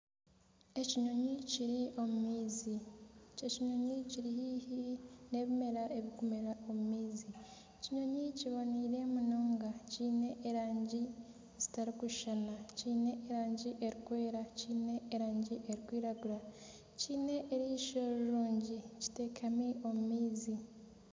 Ekinyonyi kiri omu maizi. Ekinyonyi kiri haihi n'ebimera ebirikumera omu maizi. Ekinyonyi kiboniire munonga, kiine erangi zitarikushushana, kine erangi erikwera, kiine erangi erikwiragura, kiine erisho rirungi kiteekami omu maizi.